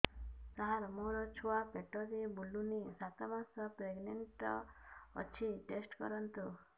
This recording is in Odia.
ସାର ମୋର ଛୁଆ ପେଟରେ ବୁଲୁନି ସାତ ମାସ ପ୍ରେଗନାଂଟ ଅଛି ଟେଷ୍ଟ କରନ୍ତୁ